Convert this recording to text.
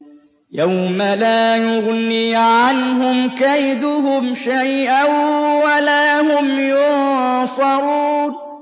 يَوْمَ لَا يُغْنِي عَنْهُمْ كَيْدُهُمْ شَيْئًا وَلَا هُمْ يُنصَرُونَ